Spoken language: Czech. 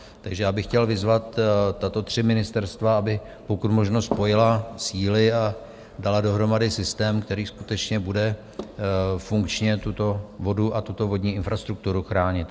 Takže já bych chtěl vyzvat tato tři ministerstva, aby pokud možno spojila síly a dala dohromady systém, který skutečně bude funkčně tuto vodu a tuto vodní infrastrukturu chránit.